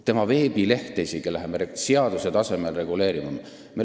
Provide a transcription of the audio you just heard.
Isegi veebilehte hakkame seaduse tasemel reguleerima.